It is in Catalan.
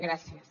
gràcies